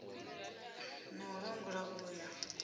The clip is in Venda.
na u langula u ya